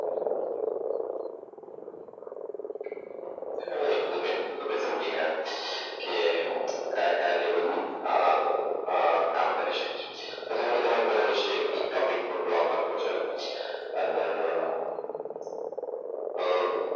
હા એટલું તો તમે સમજી ગયા. કે કયા કયા લેવલની અમ આ કામ કરી શકે છે? હવે ધારો કે તમારે કોઈના વિશે ટોપીક ઉપર બ્લોક લખવો છે અને અમ અમ